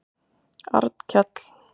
Arnkell